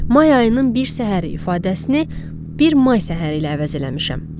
May ayının bir səhəri ifadəsini bir may səhəri ilə əvəz eləmişəm.